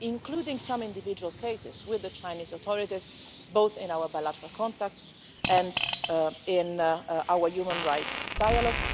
including some individual cases, with the Chinese authorities, both in our bilateral contacts and in our human rights dialogues.